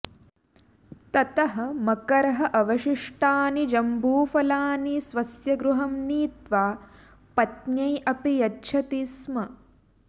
ततः मकरः अवशिष्टानि जम्बूफलानि स्वस्य गृहं नीत्वा पत्न्यै अपि यच्छति स्म